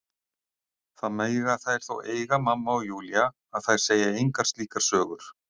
Það mega þær þó eiga mamma og Júlía að þær segja engar slíkar sögur.